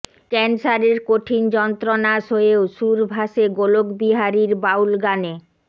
ক্যান্সারের কঠিন যন্ত্রণা সয়েও সুর ভাসে গোলকবিহারীর বাউল গানে